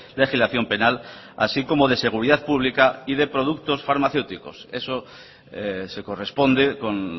legislación penal así como de seguridad pública y de productos farmacéuticos eso se corresponde con